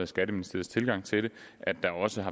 skatteministeriets tilgang til det at der også